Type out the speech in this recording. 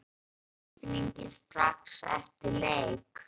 Hvernig var tilfinningin strax eftir leik?